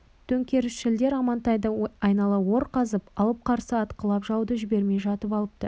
төңкерісшілдер амантайды айнала ор қазып алып қарсы атқылап жауды жібермей жатып алыпты